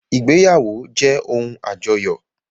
Ìgbéyàwó jẹ́ ohun àjọyọ̀